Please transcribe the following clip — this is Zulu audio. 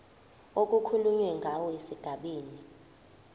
okukhulunywe ngawo esigabeni